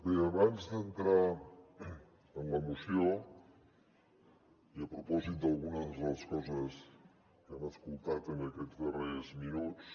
bé abans d’entrar en la moció i a propòsit d’algunes de les coses que hem escoltat en aquests darrers minuts